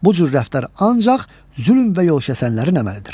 Bu cür rəftar ancaq zülm və yolkəsənlərin əməlidir.